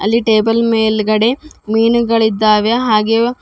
ಈ ಟೇಬಲ್ ಮೇಲ್ಗಡೆ ಮೀನುಗಳಿದ್ದಾವೆ ಹಾಗೆ--